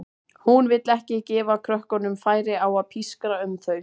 Hún vill ekki gefa krökkunum færi á að pískra um þau.